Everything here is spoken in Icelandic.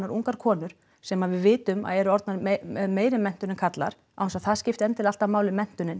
ungar konur sem við vitum að eru með meiri menntun en karlar án þess að það skipti endilega alltaf máli menntunin